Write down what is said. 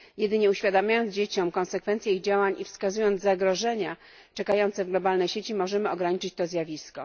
Jedynie uświadamiając dzieciom konsekwencje ich działań i wskazując zagrożenia czekające w globalnej sieci, możemy ograniczyć to zjawisko.